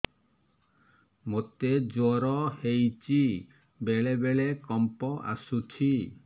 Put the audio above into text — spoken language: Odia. ମୋତେ ଜ୍ୱର ହେଇଚି ବେଳେ ବେଳେ କମ୍ପ ଆସୁଛି